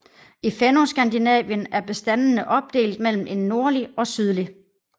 I Fennoskandinavien er bestandene opdelt mellem en nordlig og sydlig